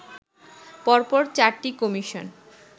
পর পর চারটি কমিশন